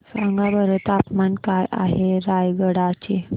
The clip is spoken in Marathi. सांगा बरं तापमान काय आहे रायगडा चे